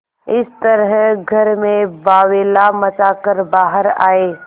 इस तरह घर में बावैला मचा कर बाहर आये